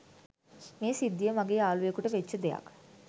මේ සිද්දිය මගේ යාලුවෙකුට වෙච්ච දෙයක්.